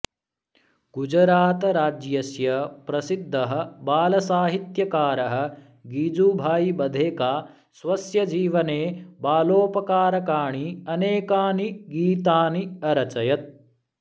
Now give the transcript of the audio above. गुजरातराज्यस्य प्रसिद्धः बालसाहित्यकारः गिजुभाई बधेका स्वस्य जीवने बालोपकारकाणि अनेकानि गीतानि अरचयत्